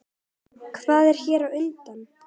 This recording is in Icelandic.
Hvað er þér á höndum?